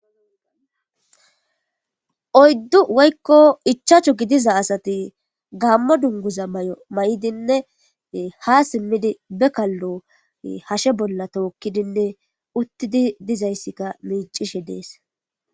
Oyidu woyikko ichchachu gidiza asati Gamo duniguza mayidinne ha simidi be kalo hashe bola tokkidinne uttidi dizayisikka miccishe deesi